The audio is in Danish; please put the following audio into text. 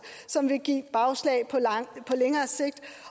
som vil give bagslag på længere sigt